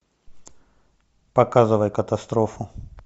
показывай катастрофу